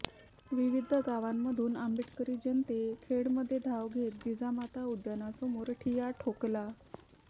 विविध गावांमधून आंबेडकरी जनते खेडमध्ये धाव घेत जिजामाता उद्यानासमोर ठिय्या ठोकला